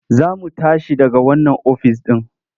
Za mu tashi daga wannan ofis ɗin.